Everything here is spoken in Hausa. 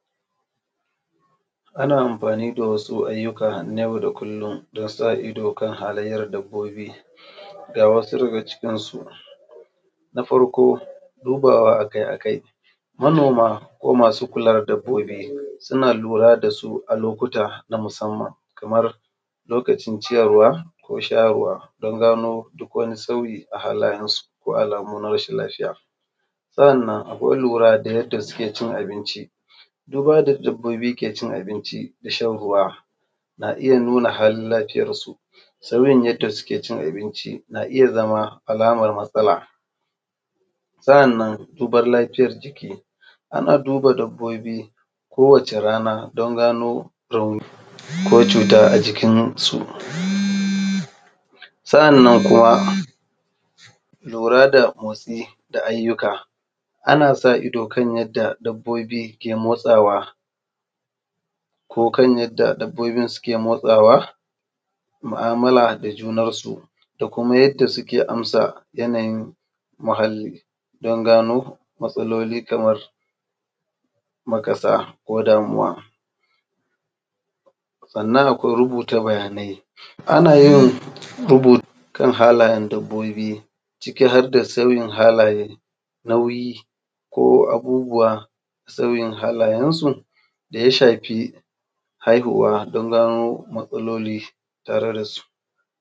Ana amfani da wasu nau'ikan na yau da kullum don sa idon kan halayyar wasu dabbobi ga wasu daga cikinsu. na farko, dubawa a kai a kai. Manoma ko masu kula da dabbobi suna lura da su a lokuta na musamman, kamar lokacin ciyarwa ko shayarwa don gano duk wani sauyi a halayensu ko alamu na rashin lafiya. Sannan akwai lura da yadda suke cin abinci, Duba da yadda dabbobi ke cin abun da shan ruwa, ke nuna halin lafiya su sauyin yadda suke cin abinci na iya zama alamar natsala. Sannan duban lafiyar jiki ana duba lafiya kowacce rana don gano rauni ko cuta a jikinsu. sannan kuma: jura da motsi da ayyuka, ana so ido kan dabbobi da motsawa ko kan yadda dabbobi ke motsawa mu'amala da junansu da kuma: yadda suke amsa yanayin muhalli don gano matsaloli kamar makasa ko damuwa sannan akwai rubuta bayanai kan halayen dabobi nauyi ko abubuwan kan halayensu da ya shafi haihuwa don gano matsaloli tare da su.